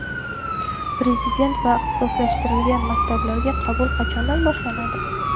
Prezident va ixtisoslashtirilgan maktablarga qabul qachondan boshlanadi?.